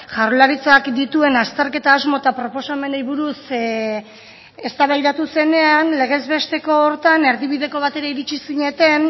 jaurlaritzak dituen azterketa asmo eta proposamenei buruz eztabaidatu zenean legez besteko horretan erdibideko batera iritsi zineten